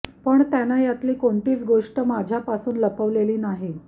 पण त्यानं यातली कोणतीच गोष्ट माझ्यापासून लपवलेली नाही